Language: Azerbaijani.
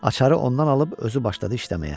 Açaarı ondan alıb özü başladı işləməyə.